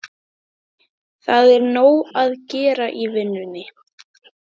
Nei, það er nóg að gera í vinnunni.